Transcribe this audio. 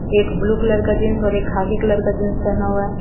एक blue colour का jeans और एक खाखी कलर का जीन्स पहना हुआ है।